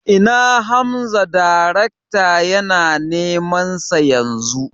Ina Hamza darekta yana neman sa Yanzu